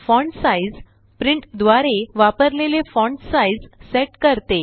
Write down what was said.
font size print द्वारे वापरलेले font size set करते